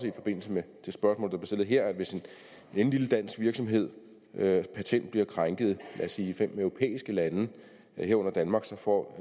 i forbindelse med det spørgsmål stillet her at hvis en lille dansk virksomheds patent bliver krænket lad os sige i fem europæiske lande herunder danmark får